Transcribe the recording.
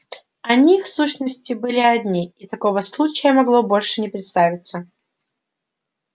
они в сущности были одни и такого случая могло больше не представиться